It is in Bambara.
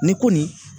Ni ko nin